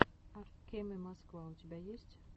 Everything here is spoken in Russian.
ак кеме москва у тебя есть